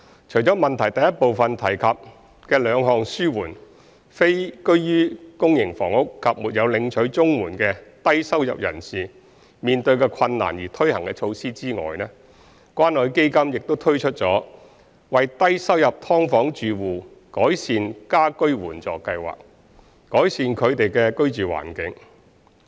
除了質詢第一部分提及的兩項紓緩非居於公營房屋及沒有領取綜援的低收入人士面對的困難而推行的措施外，關愛基金亦推出了為低收入劏房住戶改善家居援助計劃，改善他們的居住環境。